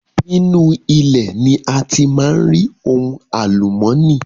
Nínú ilẹ̀ ni a ti máa ń rí ohun àlùmọ́nì